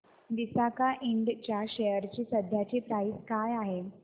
Visaka ind च्या share ची सध्याची प्राइस काय आहे